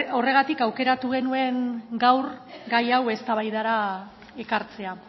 horregatik aukeratu genuen gaur gai hau eztabaidara ekartzea